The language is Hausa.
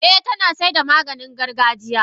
Eh tanasaida Maganin gargajiya.